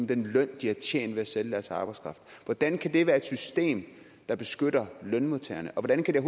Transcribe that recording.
den løn de har tjent ved at sælge deres arbejdskraft hvordan kan det være et system der beskytter lønmodtagerne og hvordan kan det